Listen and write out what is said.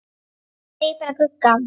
Segja bara Gugga.